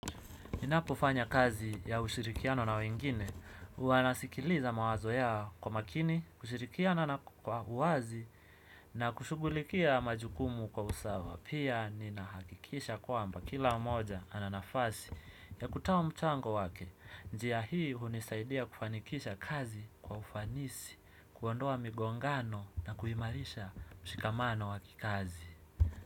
Ninapofanya kazi ya ushirikiano na wengine, huwa nasikiliza mawazo yao kwa makini, kushirikiana na kwa uwazi, na kushughulikia majukumu kwa usawa. Pia ninahakikisha kwamba kila mmoja ana nafasi ya kutoa mchango wake. Njia hii hunisaidia kufanikisha kazi kwa ufanisi, kuondoa migongano na kuimarisha mshikamano wa kikazi.